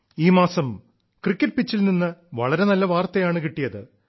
ഈ മാസം ക്രിക്കറ്റ് പിച്ചിൽ നിന്നും വളരെ നല്ല വാർത്തായണ് കിട്ടിയത്